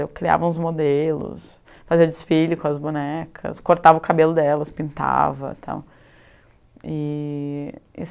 Eu criava uns modelos, fazia desfile com as bonecas, cortava o cabelo delas, pintava e tal. E